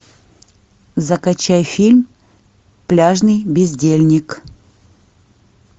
закачай фильм пляжный бездельник